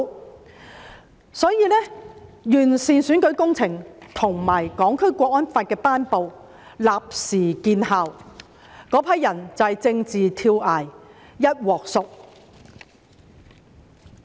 結果，完善選舉制度和《香港國安法》的頒布立時見效，那群人便是政治跳崖，"一鑊熟"。